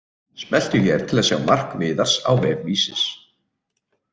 Smelltu hér til að sjá mark Viðars á vef Vísis